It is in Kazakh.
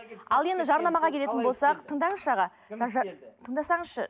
ал енді жарнамаға келетін болсақ тыңдаңызшы аға тыңдасаңызшы